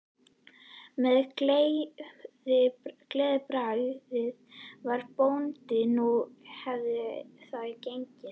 Með gleðibragði sagði bóndinn að nú hefði það gengið.